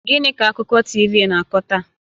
Gịnị ka akụkọ TV na-akọ taa?